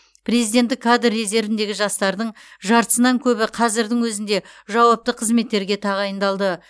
президенттік кадр резервіндегі жастардың жартысынан көбі қазірдің өзінде жауапты қызметтерге тағайындалды